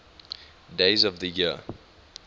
days of the year